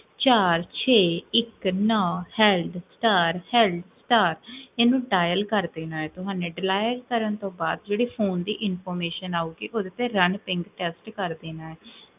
ਚਾਰ ਛੇ ਇਕ ਨੋ ਹੇਲ੍ਡ ਸਟਾਰ ਹੇਲ੍ਡ ਸਟਾਰ, ਏਨੁ dial ਕ੍ਰ੍ਦੇਨਾ ਹੈ ਤੁਹਾਨੇ dial ਕਰਨ ਤੋ ਬਾਦ ਜੇਹੜੀ ਫੋਨ ਦੀ information ਆਊਗੀ, ਓਦੇ ਤੇ run in test ਕ੍ਰ੍ਦੇਨਾ ਹੈ